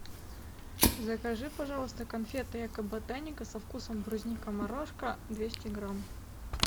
закажи пожалуйста конфеты эко ботаника со вкусом брусника морошка двести грамм